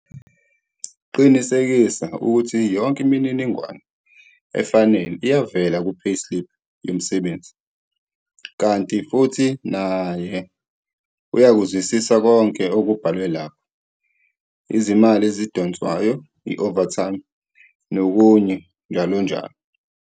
Qinisekisa ukuthi yonke imininingwane efanele iyavela kupayslip yomsebenzi, kanti futhi naye uyakuzwisisa konke okubhalwe lapho - izimali ezidonswayo, i-overtime, nokunye njll.